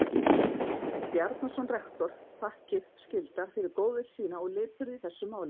Bjarnason rektor þakkir skyldar fyrir góðvild sína og lipurð í þessu máli.